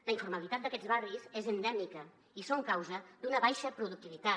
la informalitat d’aquests barris és endèmica i són causa d’una baixa productivitat